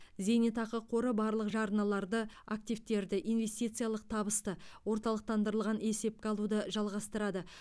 зейнетақы қоры барлық жарналарды активтерді инвестициялық табысты орталықтандырылған есепке алуды жалғастырады